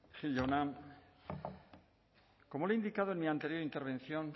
gil jauna como le he indicado en mi anterior intervención